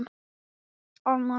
Af hverju ætti ég að fara?